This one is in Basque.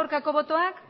aurkako botoak